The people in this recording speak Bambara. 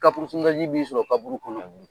b'i sɔrɔ kauru kɔnɔ ye.